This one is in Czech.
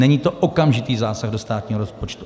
Není to okamžitý zásah do státního rozpočtu.